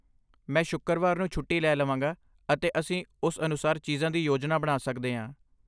ਮੈਂ ਸ਼ੁੱਕਰਵਾਰ ਨੂੰ ਛੁੱਟੀ ਲੈ ਲਵਾਂਗਾ, ਅਤੇ ਅਸੀਂ ਉਸ ਅਨੁਸਾਰ ਚੀਜ਼ਾਂ ਦੀ ਯੋਜਨਾ ਬਣਾ ਸਕਦੇ ਹਾਂ।